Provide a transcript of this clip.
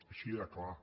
així de clar